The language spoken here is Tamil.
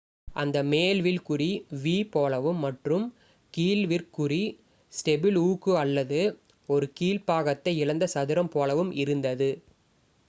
"அந்த "மேல் வில்" குறி v போலவும் மற்றும் "கீழ் விற் குறி" ஸ்டெபிள் ஊக்கு அல்லது ஒரு கீழ்ப் பாகத்தை இழந்த சதுரம் போலவும் இருந்தது.